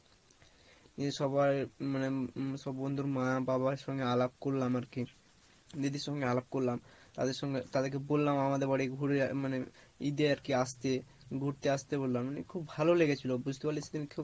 নিয়ে সবাই মানে সব বন্ধুরা মা বাবার সঙ্গে আলাপ করলাম আর কি দিদির সঙ্গে আলাপ করলাম তাদের সঙ্গে তাদের কে বললাম আমাদের বাড়ি ঘুড়ে মানে ঈদ এ আর কি আসতে, ঘুড়তে আসতে বললাম মানে খুব ভালো লেগেছিলো বুঝতে পারলি সেদিনকে খুব